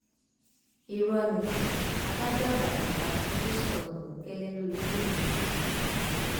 irọ ni adájọ àgbà kò bá tinubu sọrọ bòńkẹlẹ lórí fóònù o